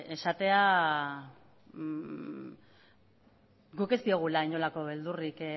esatea guk ez diogula inolako beldurrik